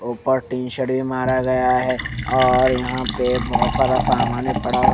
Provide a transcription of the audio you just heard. ऊपर tin shed मारा गया है और यहां पे बहोत सारा सामान है पड़ा हु--